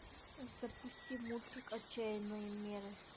запусти мультик отчаянные меры